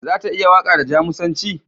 Za ta iya waƙa da Jamusanci?